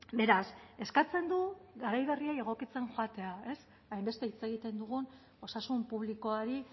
beraz eskatzen du garai berriei egokitzen joatea ez hainbeste hitz egiten dugun osasun publikoari